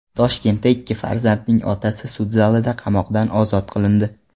Toshkentda ikki farzandning otasi sud zalida qamoqdan ozod qilindi.